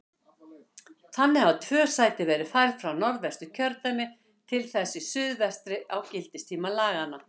Þannig hafa tvö sæti verið færð frá Norðvesturkjördæmi til þess í suðvestri á gildistíma laganna.